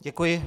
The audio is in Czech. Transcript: Děkuji.